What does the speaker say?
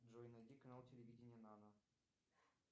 джой найди канал телевидения нано